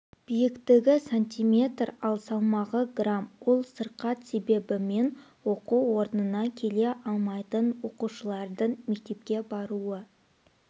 биіктігі сантиметр ал салмағы грамм ол сырқат себебімен оқу орнына келе алмайтын оқушылардың мектепке баруы